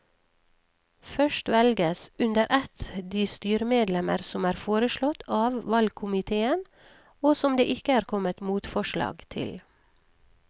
Først velges under ett de styremedlemmer som er foreslått av valgkomiteen og som det ikke er kommet motforslag til.